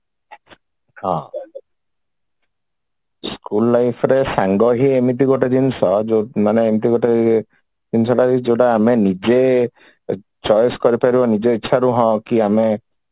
ହଁ school life ରେ ସାଙ୍ଗ ହିଁ ଏମିତି ଗୋଟେ ଜିନିଷ ଯୋଉ ମାନେ ଏମିତି ଗୋଟେ ଇଏ ଜିନିଷ ଟା କି ଯୋଉଟା ଆମେ choice କରିପାରୁ ନିଜ ଇଚ୍ଛାରୁ ହଁ କି ଆମେ